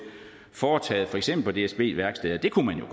foretaget på for eksempel dsb værksteder det kunne man jo